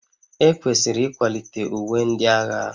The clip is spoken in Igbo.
Ekwesịrị ịkwalite uwe ndị agha